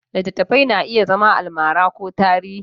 Littattafai na iya zama almara ko tarihi.